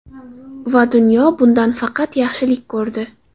Va dunyo bundan faqat yaxshilik ko‘rdi.